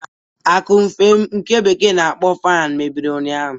Akụmfe m, nke bekee na-akpọ fanụ, mebiri ụnyaahụ.